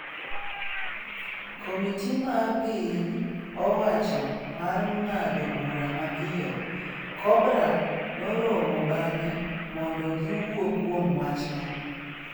Komiti mar piny owacho mar ng'ado bura mapiyo, Cobra, noromo bang'e mondo giwuo kuom wachno.